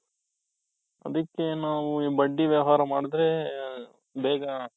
ಅದಕ್ಕೆ ನಾವು ಬಡ್ಡಿ ವ್ಯವಹಾರ ಮಾಡಿದ್ರೆ ಆ ಬೇಗ ,